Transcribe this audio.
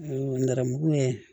Nɛrɛmugun ye